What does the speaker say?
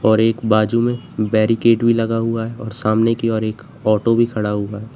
और एक बाजू में बैरिकेट भी लगा हुआ है और समाने की ओर ऑटो भी खड़ा हुआ है।